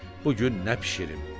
bugün nə bişirim?